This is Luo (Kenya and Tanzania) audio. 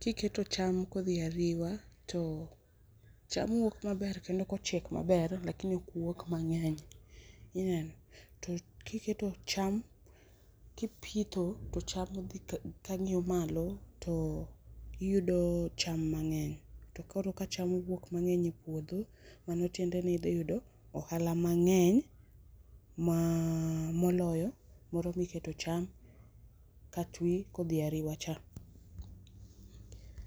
,kiketo cham kodhi ariwa to cham wuok maber kendo kochiek maber lakini ok wuog mangeny ,ineno, to kiketo cham kipitho to cham odhi kangiyo malo tiyudo cham mang'eny to koro ka cham wuok mang'eny e puodho mano tiendeni idhi yudo ohala mang'eny ma moloyo moro miketo cham kati kodhi ariwa cha